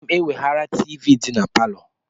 M ga-eweghara tivii dị na palọ.